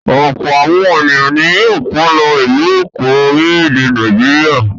Ọ̀pọ̀ àwọn ènìyàn ni yóò kọ́ lọ ìlú Èkó, orílẹ̀-èdè Nàìjíríà.